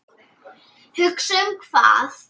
Hugsa um hvað?